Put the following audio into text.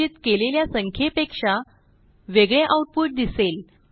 संचित केलेल्या संख्येपेक्षा वेगळे आऊटपुट दिसेल